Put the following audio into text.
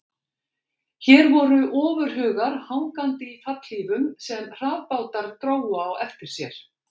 Hér voru ofurhugar hangandi í fallhlífum sem hraðbátar drógu á eftir sér.